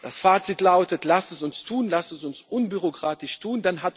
Das Fazit lautet Lasst es uns tun und lasst es uns unbürokratisch tun.